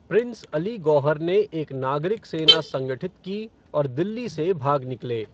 Prince Ali Gauhar ने एक नागरिक सेना संगठित की और दिल्ली से भाग निकले।